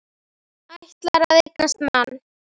Ætlar að eignast mann.